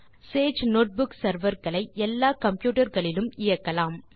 Sage notebook server களை எல்லா computer களிலும் இயக்கலாம்